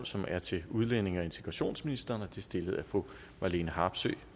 som er til udlændinge og integrationsministeren og det er stillet af fru marlene harpsøe